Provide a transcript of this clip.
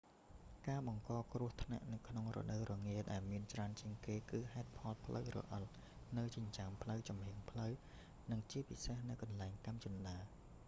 ការបង្កគ្រោះថ្នាក់ក្នុងរដូវរងារដែលមានច្រើនជាងគេ គឺហេតុផលផ្លូវរអិលនៅចិញ្ចើមផ្លូវ ចំហៀងផ្លូវ និងជាពិសេសនៅកន្លែងកាំជណ្តើរ